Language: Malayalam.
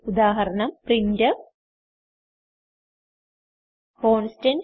ഉദാഹരണം പ്രിന്റ്ഫ് കോൺസ്റ്റന്റ്